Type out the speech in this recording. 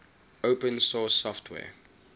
open source software